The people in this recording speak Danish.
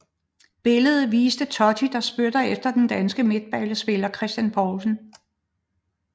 Billederne viste Totti der spyttede efter den danske midtbanespiller Christian Poulsen